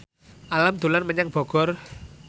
Alam dolan menyang Bogor